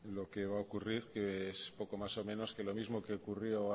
lo que va a ocurrir que es poco más o menos que lo mismo que ocurrió